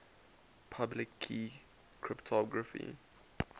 public key cryptography